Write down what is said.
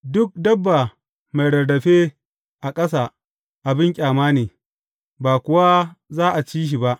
Duk dabba mai rarrafe a ƙasa abin ƙyama ne; ba kuwa za a ci shi ba.